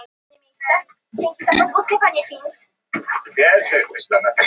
Nokkru áður en þetta var hafði ég kynnst öndvegismanninum, Ásgeiri Ólafssyni, forstjóra Brunabótafélagsins.